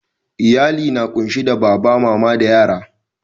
Iyalli na kunsi da baba, mama da yara.